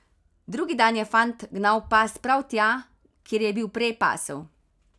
Drugi dan je fant gnal past prav tja, kjer je bil prej pasel.